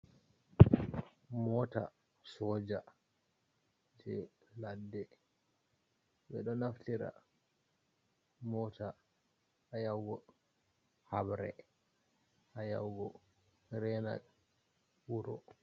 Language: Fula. Moota soja jey ladde, ɓe ɗo naftira moota haa ya'ugo habre haa ya'ugo reena wuro.